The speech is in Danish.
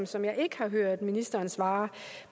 som jeg ikke har hørt ministeren svare